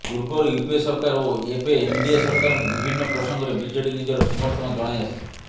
ପୂର୍ବରୁ ୟୁପିଏ ସରକାର ଓ ଏବେ ଏନଡିଏ ସରକାରକୁ ବିଭିନ୍ନ ପ୍ରସଙ୍ଗରେ ବିଜେଡି ନିଜର ସମର୍ଥନ ଜଣାଇ ଆସିଛି